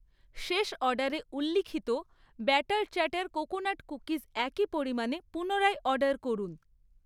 শেষ অর্ডারে উল্লিখিত ব্যাটার চ্যাটার কোকোনাট কুকিজ একই পরিমাণে পুনরায় অর্ডার করুন।